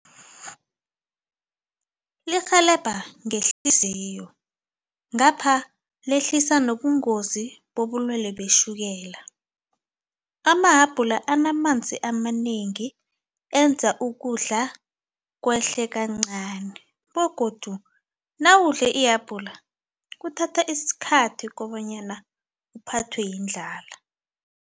Lirhelebha ngehliziyo ngapha lehlisa nobungozi bobulwelwe betjhukela. Amahabhula anamanzi amanengi enza ukudla kwehle kancani begodu nawudle ihabhula kuthatha isikhathi kobanyana uphathwe yindlala.